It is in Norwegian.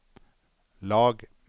lag